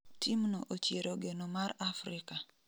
Team no ochiero geno mar Afrika